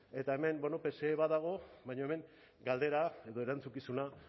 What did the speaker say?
eta hemen bueno pse badago baina hemen galdera edo erantzukizuna